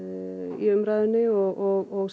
í umræðunni og